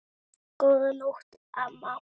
Góða nótt, amma.